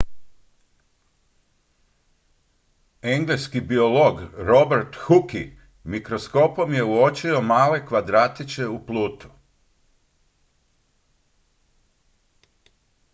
engleski biolog robert hooke mikroskopom je uočio male kvadratiće u plutu